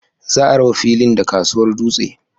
Za a raba filin da kasuwar dutse.